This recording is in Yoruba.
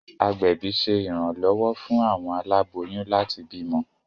Agbẹbi ṣe iranlọwọ fún awọn aláboyún láti bímọ